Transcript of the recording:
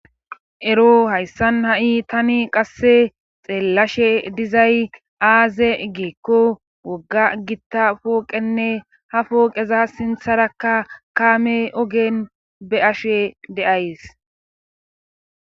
Ero hayssan ha'i tani qasse xeellashe dizay aaze igeekko wogga gitta pooqenne ha pooqeza sintharakka kaame ogen be ashe deays